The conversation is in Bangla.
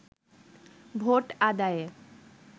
ভোট আদায়ে